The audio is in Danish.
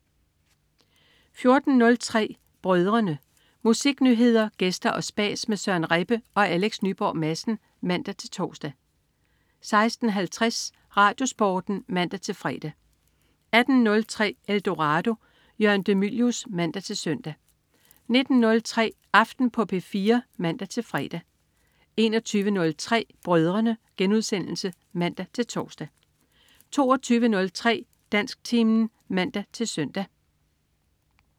14.03 Brødrene. Musiknyheder, gæster og spas med Søren Rebbe og Alex Nyborg Madsen (man-tors) 16.50 RadioSporten (man-fre) 18.03 Eldorado. Jørgen de Mylius (man-søn) 19.03 Aften på P4 (man-fre) 21.03 Brødrene* (man-tors) 22.03 Dansktimen (man-søn)